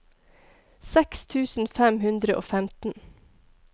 seks tusen fem hundre og femten